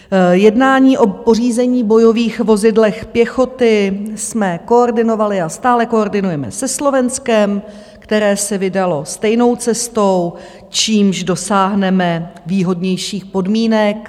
Jednání o pořízení bojových vozidel pěchoty jsme koordinovali a stále koordinujeme se Slovenskem, které se vydalo stejnou cestou, čímž dosáhneme výhodnějších podmínek.